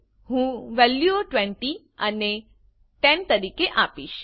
હું વેલ્યુઓ 20 અને 10 તરીકે આપીશ